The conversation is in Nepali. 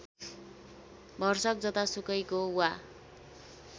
भरसक जतासुकैको वा